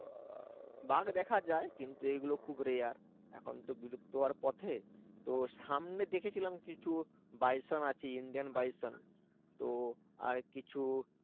বাঘ দেখা যায় কিন্তু এগুলো খুব rare এখন তো বিলুপ্ত হওয়ার পথে তো সামনে দেখেছিলাম কিছু বাইসন আছে Indian বাইসন তো আর কিছু